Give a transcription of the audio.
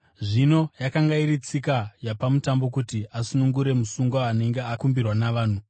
Zvino yakanga iri tsika yapaMutambo kuti asunungure musungwa anenge akumbirwa navanhu.